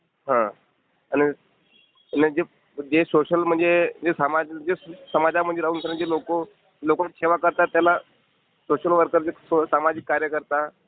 हा आणि... आणि जे जे सोशल म्हणजे जे समाजामध्ये राहून जे लोकं लोकांची सेवा करतात, त्याला सोशल वर्कर - सामाजिक कार्यकर्ता.